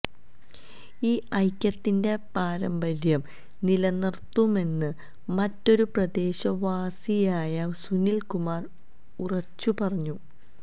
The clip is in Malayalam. ഈ ഐക്യത്തിന്റെ പാരമ്പര്യം നിലനിർത്തുമെന്ന് മറ്റൊരു പ്രദേശവാസിയായ സുനിൽ കുമാർ ഉറച്ചുപറഞ്ഞു